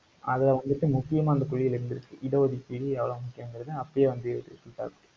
அத வந்துட்டு முக்கியமா இந்த கொள்கைகளில் இருந்துருச்சு. இட ஒதுக்கீடு, எவ்வளவு முக்கியங்கிறதை அப்பயே வந்து யோசிச்சுப்பாத்து